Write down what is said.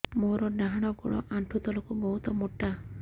ମୋର ଡାହାଣ ଗୋଡ ଆଣ୍ଠୁ ତଳୁକୁ ବହୁତ ମୋଟା